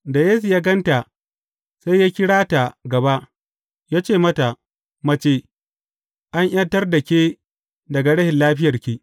Da Yesu ya gan ta, sai ya kirata gaba, ya ce mata, Mace, an ’yantar da ke daga rashin lafiyarki.